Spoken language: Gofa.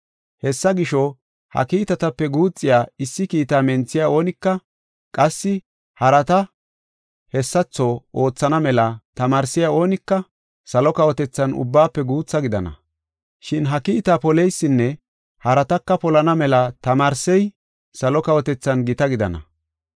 Hessa gisho, ha kiitatape guuxiya issi kiitaa menthiya oonika qassi harata hessatho oothana mela tamaarsey oonika salo kawotethan ubbaafe guutha gidana. Shin ha kiitaa poleysinne harataka polana mela tamaarsey salo kawotethan gita gidana.